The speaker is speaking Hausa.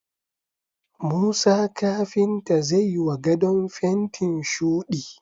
Musa kafinta zai wa gadon fentin shuɗi